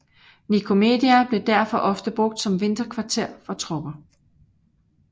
Nikomedia blev derfor ofte brugt som vinterkvarter for tropper